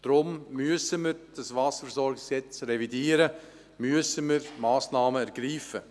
Deshalb müssen wir das WVG revidieren und Massnahmen ergreifen.